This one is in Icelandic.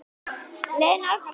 Lena og Árni Freyr.